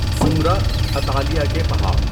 زمرہ، اطالیہ کے پہاڑ